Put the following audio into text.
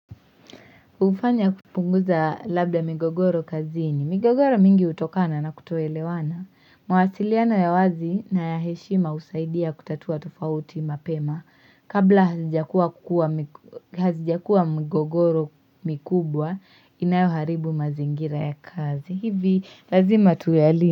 Ufanya kupunguza labda migogoro kazini. Migogoro mingi utokana na kutoelewana. Mawasiliano ya wazi na ya heshima husaidia kutatua tofauti mapema. Kabla hazijakua migogoro mikubwa, inayoharibu mazingira ya kazi. Hivi lazima tuyali.